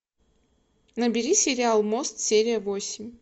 набери сериал мост серия восемь